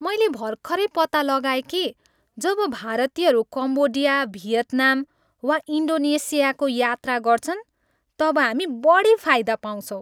मैले भर्खरै पत्ता लगाए कि जब भारतीयहरू कम्बोडिया, भियतनाम वा इन्डोनेसियाको यात्रा गर्छन् तब हामी बढी फाइदा पाउँछौँ।